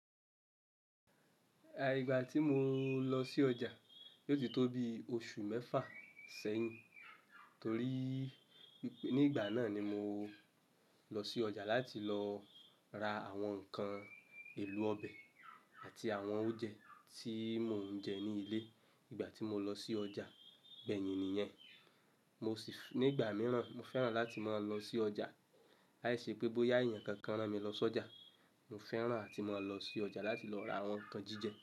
Àì ìgbà tí mo lọ sí ọjà, yóò ti tó bí oṣù mẹ́fà sẹ́yìn. Torí nígbà náà ni mo lọ sí ọjà láti lọ ra àwọn ǹkan èlò ọbẹ̀ àti àwọn oúnjẹ tí mò ń jẹ ní ilé. Ìgbà tí mo lọ sí ọjà, bẹ́ẹ̀ ni nìyẹn. Mo sì nígbà mìíràn, mo fẹ́ràn láti mọ lọ sí ọjà. Láìṣẹ́ pé bóyá èèyàn kankan rán mi lọ sọjà, mo fẹ́ràn àti máa lọ sí ọjà láti lọ ra àwọn ǹkan jíjẹ.